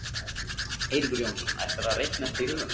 Eiríkur Jónsson: ætlarðu að reikna þetta í huganum?